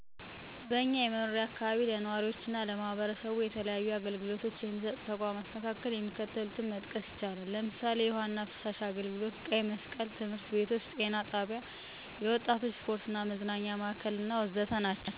በእኛ የመኖሪያ አካባቢ ለነዋሪዎችና ለማህበረሰቡ የተለያዩ አገልግሎቶች የሚሰጡ ተቋማት መካከል የሚከተሉትን መጥቀስ ይቻላል፦ ለምሳሌ፣ የውሀና ፍሳሽ አገልግሎት፣ ቀይ መስቀል፣ ትምህርት ቤቶች፣ ጤና ጣቢያ፣ ቀበሌ ጽፈት ቤት፣ ክፍለ ከተማ አስተዳደር፣ የወጣቶች ስፖርትና መዝናኛ ማዕከል፣ አነስተኛና ጥቃቅን ተቋማት፣ የወሳኝ ኩነት አገልግሎት፣ የመብራት ሀይል አገልግሎት መስሪያ ቤት፣ የንግድ እና ሸማቾች ማህበር ወዘተ ናቸው።